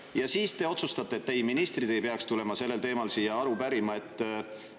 Ja siis te otsustate, et ei, ministrid ei peaks tulema sellel teemal siia aru.